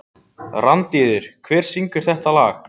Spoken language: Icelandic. Randíður, hver syngur þetta lag?